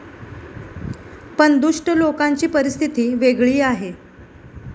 पण दुष्ट लोकांची परिस्थिती वेगळी आहे.